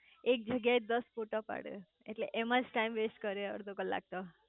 એક જ્યાં એ દાસ ફોટા પાડે એટલે એમાંજ ટાઈમ વેસ્ટ કરે અડધો કલાક તો